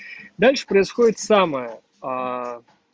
дальше происходит самое